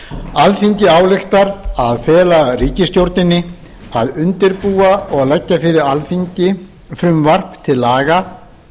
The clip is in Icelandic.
alþingi ályktar að fela ríkisstjórninni að undirbúa og leggja fyrir alþingi frumvarp til laga